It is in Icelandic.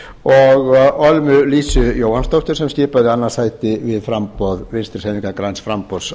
og ölmu lísu jóhannsdóttur sem skipaði annað sæti við framboð vinstri hreyfingarinnar græns framboðs